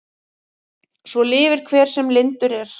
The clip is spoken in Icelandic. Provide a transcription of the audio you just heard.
Svo lifir hver sem lyndur er.